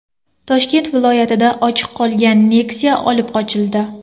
Toshkent viloyatida ochiq qolgan Nexia olib qochildi.